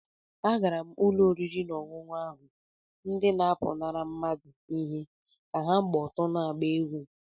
Agara m ụlọ oriri na ọṅụṅụ ahụ, ndị na-apụnara mmadụ ihe ka ha gba ọtọ na-agba egwú